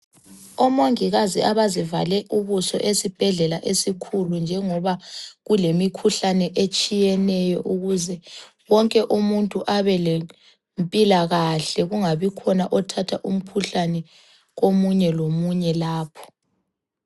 Omongikazi abazivale ubuso esibhedlela esikhulu njengoba kulemikhuhlane etshiyeneyo ukuze wonke umuntu abelempilakahle kungabi khona othatha umkhuhlane komunye lomunye lapha.